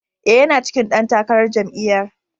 E, yana cikin ɗan takarar jami'yar.